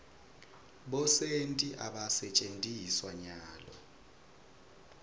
bosenti abasentjetiswa nyalo